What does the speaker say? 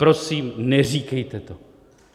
Prosím, neříkejte to.